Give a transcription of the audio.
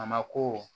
A ma ko